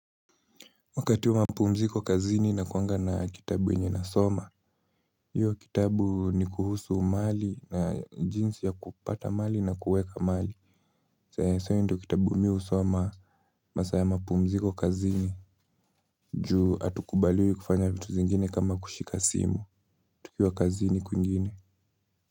Wakati wa mapumziko kazini nakuanga na kitabu yenye nasoma, hiyo kitabu ni kuhusu mali na jinsi ya kupata mali na kuweka mali. Sana sana hio ndo kitabu mi husoma, masaa ya mapumziko kazini, juu hatukubaliwi kufanya vitu zingine kama kushika simu, tukiwa kazini kuingine.